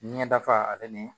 Ɲɛdafaga ale ni